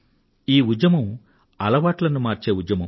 ఈ ఉద్యమం అలవాట్లను మార్చే ఉద్యమం